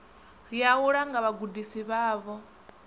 ya u langa vhagudisi vhavho